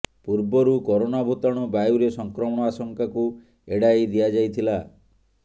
ପୂର୍ବରୁ କରୋନା ଭୂତାଣୁ ବାୟୁରେ ସଂକ୍ରମଣ ଆଶଙ୍କାକୁ ଏଡ଼ାଇ ଦିଆଯାଇଥିଲା